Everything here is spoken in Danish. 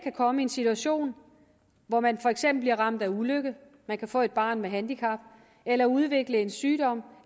komme i en situation hvor man for eksempel bliver ramt af ulykke man kan få et barn med handicap eller udvikle en sygdom